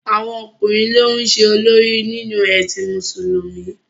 Àwọn ọkùnrin ló ń ṣe olórí nínú ẹ̀sìn Mùsùlùmí